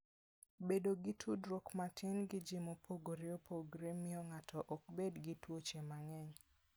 Bedo gi tudruok matin gi ji mopogore opogore miyo ng'ato ok bed gi tuoche mang'eny.